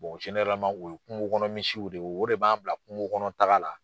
o ye kungokɔnɔmisiw de ye o de b'an bila kungokɔnɔtaga la.